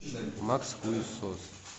макс хуесос